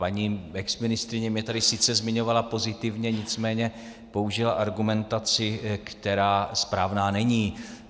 Paní exministryně mě tady sice zmiňovala pozitivně, nicméně použila argumentaci, která správná není.